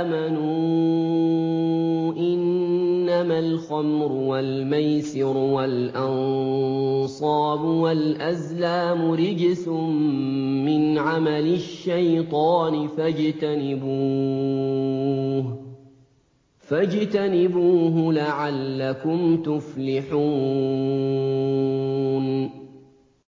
آمَنُوا إِنَّمَا الْخَمْرُ وَالْمَيْسِرُ وَالْأَنصَابُ وَالْأَزْلَامُ رِجْسٌ مِّنْ عَمَلِ الشَّيْطَانِ فَاجْتَنِبُوهُ لَعَلَّكُمْ تُفْلِحُونَ